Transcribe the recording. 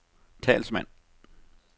talsmand